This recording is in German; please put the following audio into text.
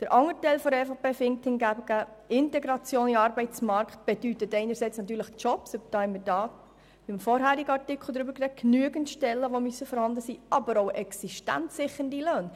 Der andere Teil der EVP ist hingegen der Meinung, Integration in den Arbeitsmarkt bedeute einerseits natürlich Jobs, genügend Stellen, die vorhanden sein müssen, andererseits aber auch existenzsichernde Löhne.